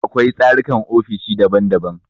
Akwai tsarukan ofishi daban daban.